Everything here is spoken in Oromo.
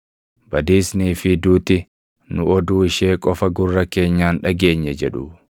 Badiisnii fi Duuti, “Nu oduu ishee qofa gurra keenyaan dhageenye” jedhu.